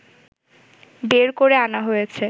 বের করে আনা হয়েছে